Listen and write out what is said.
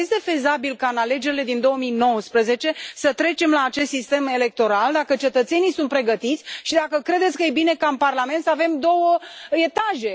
Dacă este fezabil ca, la alegerile din 2019, să trecem la acest sistem electoral, dacă cetățenii sunt pregătiți și dacă credeți că e bine ca, în Parlament, să avem două etaje?